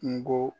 Kungo